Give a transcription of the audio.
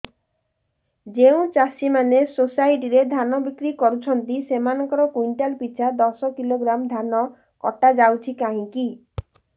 ଯେଉଁ ଚାଷୀ ମାନେ ସୋସାଇଟି ରେ ଧାନ ବିକ୍ରି କରୁଛନ୍ତି ସେମାନଙ୍କର କୁଇଣ୍ଟାଲ ପିଛା ଦଶ କିଲୋଗ୍ରାମ ଧାନ କଟା ଯାଉଛି କାହିଁକି